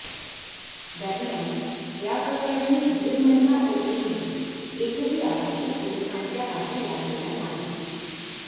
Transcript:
दरम्यान या प्रकरणी दीड महिना उलटूनही एकही आरोपी पोलिसांच्या हाती लागेला नाही